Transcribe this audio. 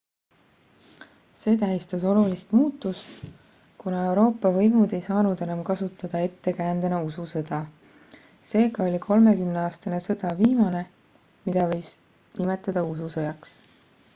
see tähistas olulist muutust kuna euroopa võimud ei saanud enam kasutada ettekäändena ususõda seega oli kolmekümneaastane sõda viimane mida võiks nimetada ususõjaks